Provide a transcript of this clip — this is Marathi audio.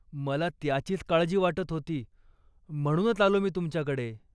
मला त्याचीच काळजी वाटत होती, म्हणूनच आलो मी तुमच्याकडे.